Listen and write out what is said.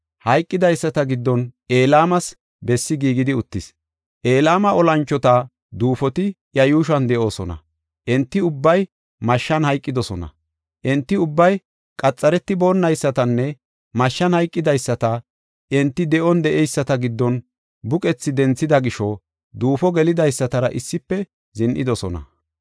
Hayqidaysata giddon Elaamas bessi giigidi uttis. Elama olanchota duufoti iya yuushuwan de7oosona; enti ubbay mashshan hayqidosona. Enti ubbay qaxaretiboonaysatanne mashshan hayqidaysata Enti de7on de7eyisata giddon buqethi denthida gisho duufo geelidaystara issife zin7idosona.